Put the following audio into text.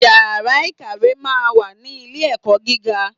Iyàrá ìkàwé máa n wà ní Ilé ẹ̀kọ́ gíga